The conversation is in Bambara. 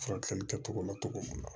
Furakɛli kɛcogo ma cogo mun na